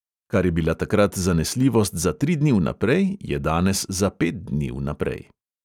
Kar je bila takrat zanesljivost za tri dni vnaprej, je danes za pet dni vnaprej.